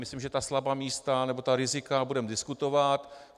Myslím, že ta slabá místa nebo ta rizika budeme diskutovat.